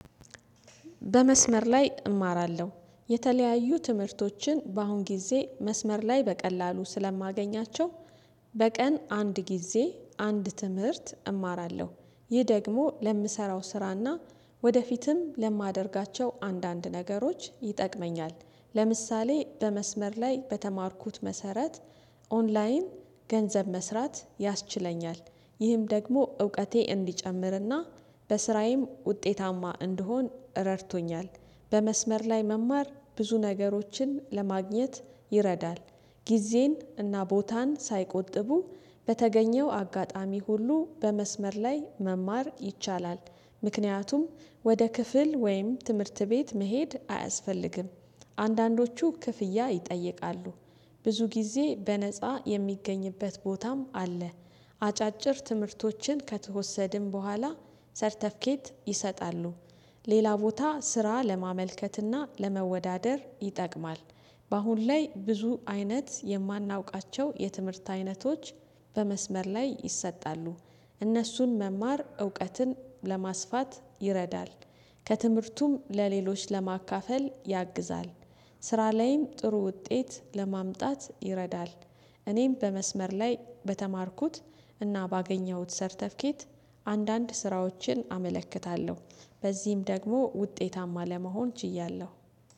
በመስመር ላይ እማራለሁ የተለያዩ ትምህርቶችን በአሁን ጊዜ መስመር ላይ በቀላሉ ስለማገኛቸው። በቀን አንድ ጊዜ አንድ ትምህርት እማራለሁ ይህ ደግሞ ለምሰራው ስራና ወደፊትም ለማደርጋቸው አንዳንድ ነገሮች ይጠቅመኛል። ለምሳሌ በመስመር ላይ በተማርኩት መሰረት ኦንላይን ገንዘብ መስራት ያስችለኛል። ይህም ደግሞ እውቀቴ እንዲጨምርና በስራዬም ውጤታማ እንደሆን ረድቶኛል። በመስመር ላይ መማር ብዙ ነገሮችን ለማግኘት ይረዳል። ጊዜን እና ቦታን ሳይቆጥቡ በተገኘው አጋጣሚ ሁሉ በመስመር ላይ መማር ይቻላል። ምክንያቱም ወደ ክፍል ወይም ትምህርት ቤት መሄድ አያስፈልግም። አንዳንዶቹ ክፍያ ይጠይቃሉ። ብዙ ጊዜ በነፃ የሚገኝበት ቦታም አለ። አጫጭር ትምህርቶችን ከተወሰድን በኋላ ሰርተፍኬት ይሰጣሉ። ሌላ ቦታ ስራ ለማመልከትና ለመወዳደር ይጠቅማል። በአሁን ላይ ብዙ አይነት የማናውቃቸው የትምህርት አይነቶች በመስመር ላይ ይሰጣሉ። እነሱን መማር እውቀትን ለማስፋት ይረዳል። ከትምህርቱም ለሌሎች ለማካፈል ያግዛል። ስራ ላይም ጥሩ ውጤት ለማምጣት ይረዳል። እኔም በመስመር ላይ በተማርኩት እና ባገኘሁት ሰርተፊኬት አንዳንድ ስራዎችን አመለክታለሁ። በዚህም ደግሞ ውጤታማ ለመሆን ችያለሁ